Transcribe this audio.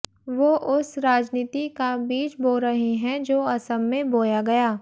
वो उस राजनीति का बीज बो रहे हैं जो असम में बोया गया